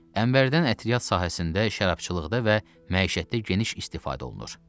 Ənbərdən ətriyyat sahəsində, şərabçılıqda və məişətdə geniş istifadə olunur.